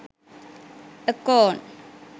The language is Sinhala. akon